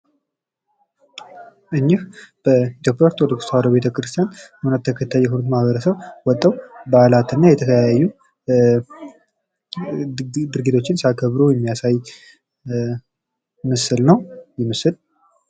እኒህ በኢትዮጵያ ኦርቶዶክስ ተዋህዶ ቤተ ክርስቲያን የእምነቱ ተከታይ የሆኑ ማህበረስብ ወጠው በዓላት እና የተለያዩ ድርጊቶችን ሲያከበሩ የሚያሳይ ምስል ነው። ይህ ምስል።